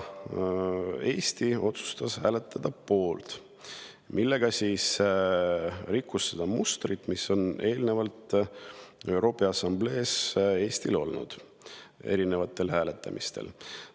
Eesti otsustas aga hääletada poolt, millega rikkus seda mustrit, mis on Eestil eelnevalt ÜRO Peaassamblee erinevatel hääletamistel olnud.